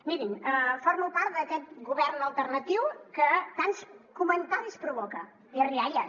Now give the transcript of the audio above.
mirin formo part d’aquest govern alternatiu que tants comentaris provoca i rialles